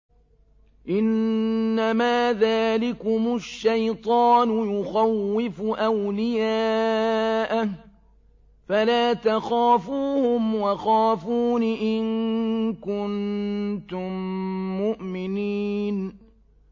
إِنَّمَا ذَٰلِكُمُ الشَّيْطَانُ يُخَوِّفُ أَوْلِيَاءَهُ فَلَا تَخَافُوهُمْ وَخَافُونِ إِن كُنتُم مُّؤْمِنِينَ